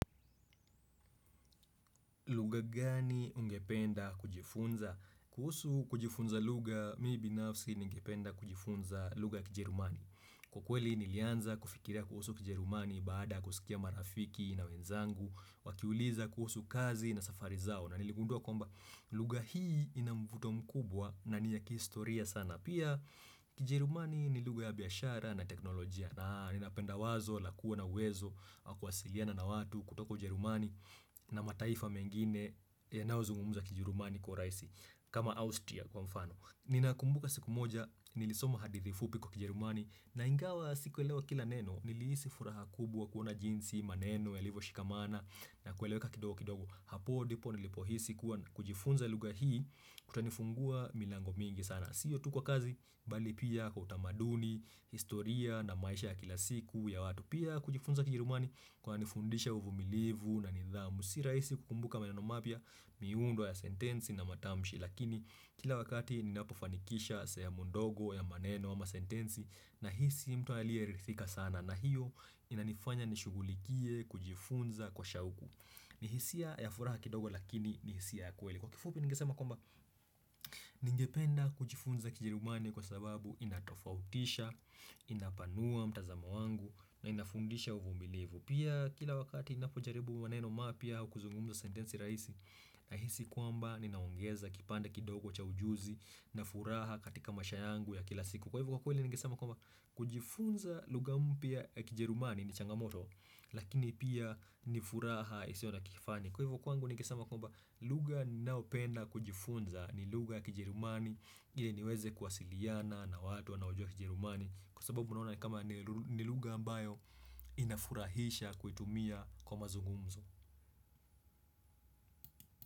Lugha gani ungependa kujifunza? Kuhusu kujifunza lugha, mi binafsi ningependa kujifunza lugha kijerumani. Kwa kweli nilianza kufikiria kuhusu kijerumani baada kusikia marafiki na wenzangu, wakiuliza kuhusu kazi na safari zao. Na niligundua kwamba lugha hii ina mvuto mkubwa na ni ya kihistoria sana. Pia kijerumani ni lugha ya biashara na teknolojia. Naa, ninapenda wazo, lakuwa na uwezo, wa kuwasiliana na watu kutoka Ujerumani na mataifa mengine, yanaozungumza kijerumani kwa urahisi kama Austria kwa mfano Ninakumbuka siku moja, nilisoma hadithi fupi kwa kijerumani na ingawa sikuewelewa kila neno, nilihisi furaha kubwa kuona jinsi, maneno, yalivo shikamana na kuweleweka kidogo kidogo Hapo, dipo, nilipohisi kuwa kujifunza lugha hii Kutanifungua milango mingi sana sio tu kwa kazi bali pia kutamaduni, historia na maisha ya kila siku ya watu pia kujifunza kijerumani kwanifundisha uvumilivu na nidhamu si rahisi kukumbuka maneno mapya miundo ya sentensi na matamshi lakini kila wakati ninapofanikisha sehemu ndogo ya maneno ama sentensi nahisi mtu aliyeridhika sana na hiyo inanifanya nishugulikie kujifunza kwa shauku ni hisia ya furaha kidogo lakini ni hisia ya kweli Kwa kifupi ningesema kwamba ningependa kujifunza kijerumani kwa sababu inatofautisha, inapanua mtazamo wangu na inafundisha uvumilivu Pia kila wakati inapojaribu maneno mapya au kuzungumza sentensi rahisi Nahisi kwamba ninaongeza kipande kidogo cha ujuzi na furaha katika maisha yangu ya kila siku Kwa hivo kwa kweli ningesema kwamba kujifunza lugha mpya ya kijerumani ni changamoto lakini pia nifuraha isiona kifani Kwa hivo kwangu ningesema kwamba lugha ninaopenda kujifunza ni lugha kijerumani ile niweze kwasiliana na watu wanaojua kijerumani Kwa sababu unaona ni kama ni lu lugha ambayo inafurahisha kuitumia kwa mazungumzo.